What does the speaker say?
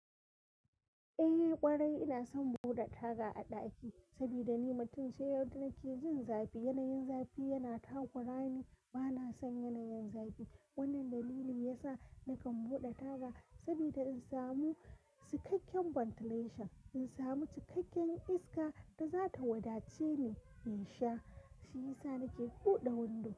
Eh ƙwarai ina son buɗe taga a ɗaki, sabida ni mutum ce wadda nake jin zafi. Yanayin zafi yana takura ni, bana son yanayin zafi. Wannan dalili ya sa nakan buɗe taga. Saboda in samu cikakken ventilation, in samu cikakken iska da za ta wadace ni in sha, shi ya sa nake buɗe windo.